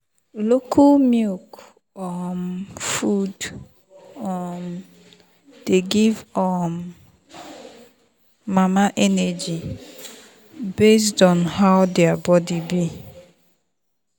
local milk um food um dey give um mama energy based on how her body be.